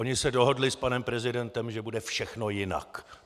Oni se dohodli s panem prezidentem, že bude všechno jinak.